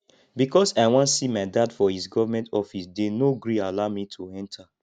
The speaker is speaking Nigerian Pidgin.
because i wan see my dad for his government office they no gree allow me to enter